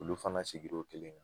Olu fana sigira o kelen kan